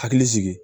Hakili sigi